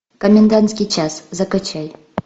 комендантский час закачай